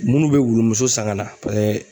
Munnu bɛ wulumuso san ka na paseke